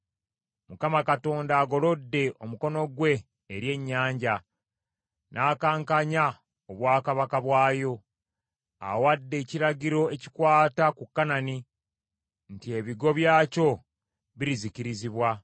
Mukama Katonda agolodde omukono gwe eri ennyanja, n’akankanya obwakabaka bwayo. Awadde ekiragiro ekikwata ku Kanani nti ebigo byakyo birizikirizibwa.